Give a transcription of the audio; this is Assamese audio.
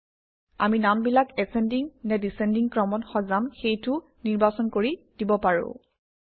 আমি নামবিলাক এচেণ্ডিং নে ডিচেণ্ডিং ক্ৰমত সজাম সেইটোও নিৰ্বাচন কৰি দিব পাৰোঁ